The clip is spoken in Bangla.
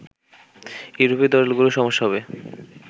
ইউরোপীয় দলগুলোর সমস্যা হবে